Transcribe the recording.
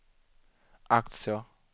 aktier